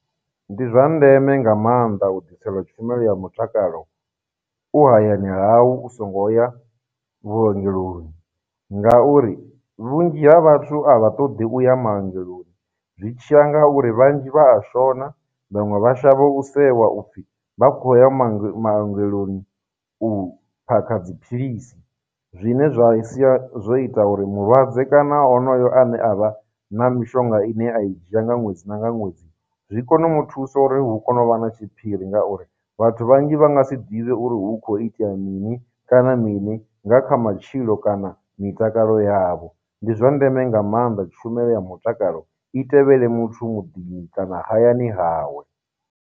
Ndi zwa ndeme nga maanḓa u ḓiselwa tshumelo ya mutakalo u hayani hau u songo ya vhuongeloni, ngauri vhunzhi ha vhathu a vha ṱoḓi u ya maungelo zwi tshiya nga uri vhanzhi vha a shona, vhaṅwe vha shavha u sewa upfhi vha khou ya ma , maongeloni u phakha dziphilisi, zwine zwa sia zwo ita uri mulwadze kana honoyo ane a vha na mishonga ine a i dzhia nga ṅwedzi na nga ṅwedzi zwi kone u mu thusa uri hu kone u vha na tshiphiri ngauri, vhathu vhanzhi vha nga si ḓivhe uri hu khou itea mini kana mini nga kha matshilo kana mitakalo yavho. Ndi zwa ndeme nga maanḓa tshumelo ya mutakalo i tevhele muthu muḓini kana hayani hawe.